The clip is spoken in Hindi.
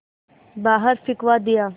बाहर फिंकवा दिया